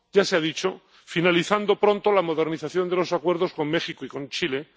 Ya se ha dicho finalizando pronto la modernización de los acuerdos con México y con Chile.